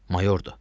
Mayordur.